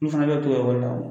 Olu fana bɛ to ekɔli la